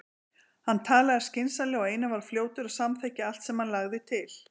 Hann talaði skynsamlega og Einar var fljótur að samþykkja allt sem hann lagði til.